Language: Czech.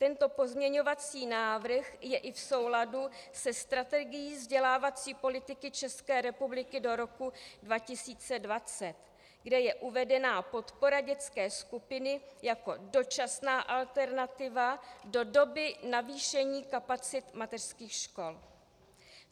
Tento pozměňovací návrh je i v souladu se strategií vzdělávací politiky České republiky do roku 2020, kde je uvedena podpora dětské skupiny jako dočasná alternativa do doby navýšení kapacit mateřských škol.